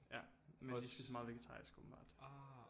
Ja men de spiser meget vegetarisk åbenbart